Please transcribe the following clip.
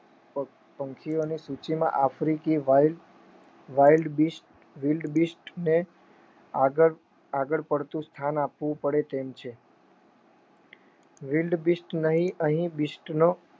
પંખીઓની સૂચિના આફ્રિકી Wile Wildebeest ને આગળ પડતી સ્થાન આપવું પડે તેમ છે Wildebeest નહિ અહીં બીસ્ટનો